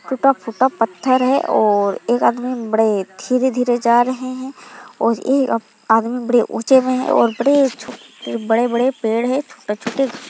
टूटा फूटा पत्थर है और एक आदमी बड़े धीरे-धीरे जा रहे हैं और यह आदमी बड़े ऊंचे हुए है और बड़े छोटे और बड़े-बड़े पेड़ है छोटे-छोटे--